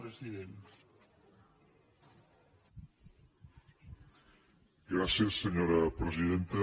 gràcies senyora presidenta